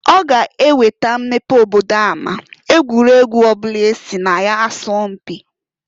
Ọ ga-eweta mmepe obodo ama egwuregwu ọbụla esi na ya sọọ mpị.